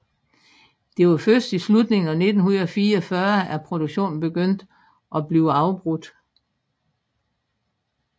Det var først i slutningen af 1944 at produktionen begyndte at blive afbrudt